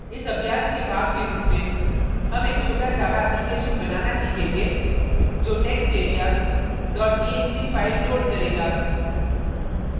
इस अभ्यास के भाग के रूप में हम एक छोटा java application बनाना सीखेंगे जो text area txt file loads करेगा